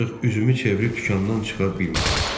Ancaq üzümü çevirib dükandan çıxa bilmədim.